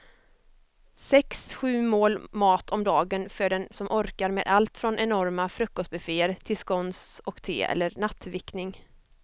Sex, sju mål mat om dagen för den som orkar med allt från enorma frukostbufféer till scones och te eller nattvickning.